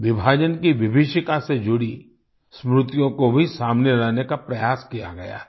विभाजन की विभिषिका से जुड़ी स्मृतियों को भी सामने लाने का प्रयास किया गया है